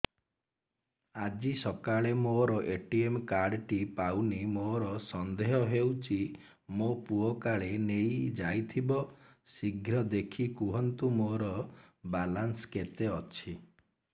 ଆଜି ସକାଳେ ମୋର ଏ.ଟି.ଏମ୍ କାର୍ଡ ଟି ପାଉନି ମୋର ସନ୍ଦେହ ହଉଚି ମୋ ପୁଅ କାଳେ ନେଇଯାଇଥିବ ଶୀଘ୍ର ଦେଖି କୁହନ୍ତୁ ମୋର ବାଲାନ୍ସ କେତେ ଅଛି